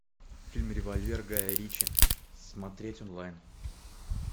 фильм револьвер гая ричи смотреть онлайн